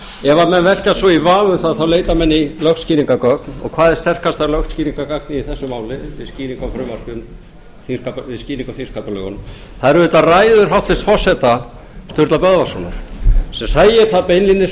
ef menn velkjast svo í vafa um það á leita menn í lögskýringargögn og hvað er sterkasta lögskýringargagnið í þessu máli við skýringu á þingsköpunum það eru auðvitað ræður hæstvirts forseta sturlu böðvarssonar sem segja það beinlínis